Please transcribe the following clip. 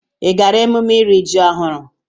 Ị gaara emume iri ji ọhụrụ?